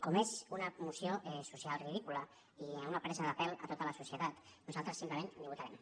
com que és una moció social ridícula i una presa de pèl a tota la societat nosaltres simplement ni votarem